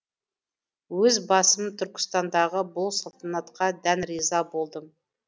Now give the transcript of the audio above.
өз басым түркістандағы бұл салтанатқа дән риза болдым